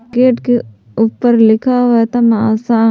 Gate के ऊपर लिखा हुआ है तमाशा।